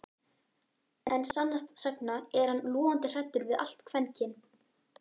En sannast sagna er hann logandi hræddur við allt kvenkyn